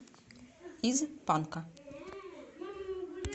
из панка